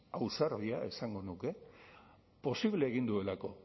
ausardia esango nuke posible egin duelako